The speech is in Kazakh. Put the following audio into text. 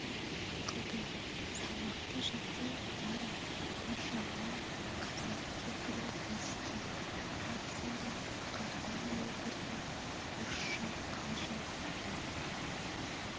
ақылды салмақты жүзді дарья бір жағынан қазақ кемпірі иіске тағы сондай қартаң әйелдерге орысша қалжың айтады